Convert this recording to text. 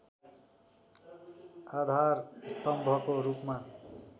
आधार स्तम्भको रूपमा